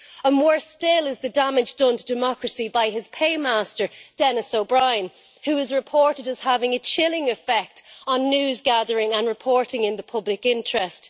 And more still is the damage done to democracy by his paymaster, Denis O'Brien, who is reported as having a chilling effect on news gathering and reporting in the public interest.